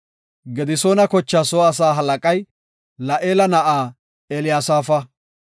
Gedisoona kochaa soo asaa halaqay La7eela na7aa Eliyasaafa.